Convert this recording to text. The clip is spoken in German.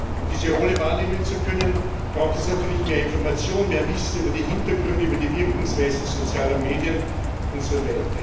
Um diese Rolle wahrnehmen zu können, braucht es natürlich mehr Information, mehr Wissen über die Hintergründe, über die Wirkungsweise sozialer Medien usw.